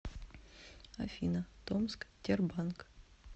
афина томск тербанк